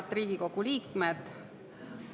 Head Riigikogu liikmed!